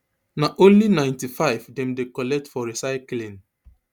na only ninety-five dem dey collect for recycling